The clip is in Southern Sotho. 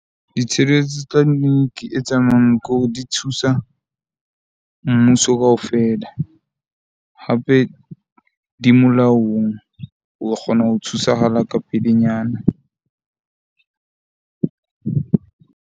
Ditshireletso tsa e tsamayang ko di thusa mmuso kaofela hape di molaong, o kgona ho thusahala ka pelenyana .